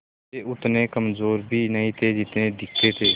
वे उतने कमज़ोर भी नहीं थे जितने दिखते थे